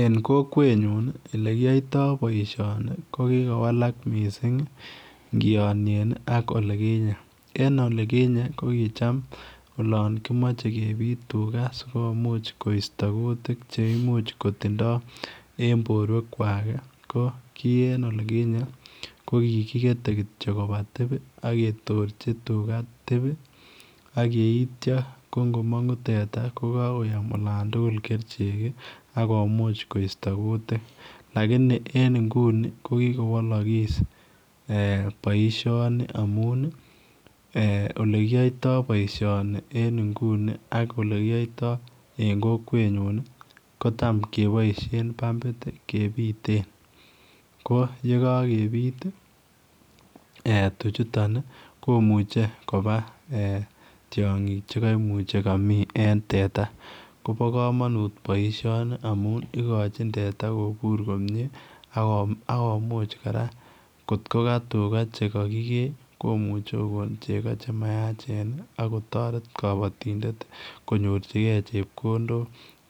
En kokwet nyun olekiyoito boishoni ko kikowalak missing ngiyonyen ak olikinyen en olikinyen kokicham olon kimache kebit tuka sikomuch kosta kutik che imuch kotindo en boruwek kwak ko ki en olikinyen ko ki kigete kityo koba tib ak ketorchi tuka tib ak yeityo ko ngomangu teta ko kakoyom olon tukul kerichek akomuch koista kutik lakini en inguni ko kigowalakis ee boishoni amun ii ee olekiyoito boishoni en inguni ak olekiyoyto en kokwet nyun ko tam keboishen pambit kebiten ko yekakebit ee tuchutan komuche koba ee tiongik che kamii en teta kobo kamanut boishoni amun igochin teta kibur komie ak komuch kora kot ko ka tuka teta neki kee komuche ko koo chego che mayachen ak kotoret kobatondetkonyorchi gee chekondok